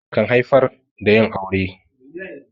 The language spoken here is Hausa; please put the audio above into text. Soyayya kan haifar da yin aure.